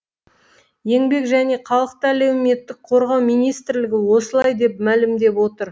еңбек және халықты әлеуметтік қорғау министрлігі осылай деп мәлімдеп отыр